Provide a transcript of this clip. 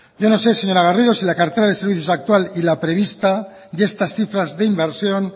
yo no sé señora garrido si la cartera de servicios actual y la prevista y estas cifras de inversión